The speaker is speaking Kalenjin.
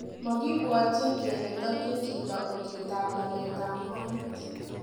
Mokibwotyin kele tokyin chito uchetab laletab motet.